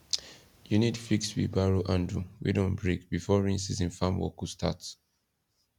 you need fix wheelbarrow handle wey don break before rain season farm work go start